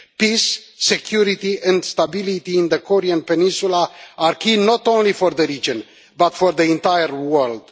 Peace, security and stability in the Korean peninsula are key not only for the region, but for the entire world.